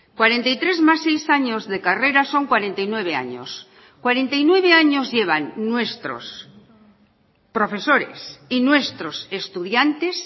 cuarenta y tres más seis años de carrera son cuarenta y nueve años cuarenta y nueve años llevan nuestros profesores y nuestros estudiantes